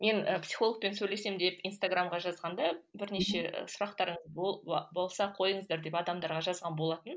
мен і психологпен сөйлесемін деп инстаграмға жазғанда бірнеше сұрақтарыңыз болса қойыңыздар деп адамдарға жазған болатын